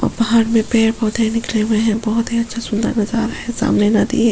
और पहाड़ में पेड़-पौधे बिखरे हुए है बहोत ही बहोत ही अच्छा सुन्दर नजारा है सामने नदी है ।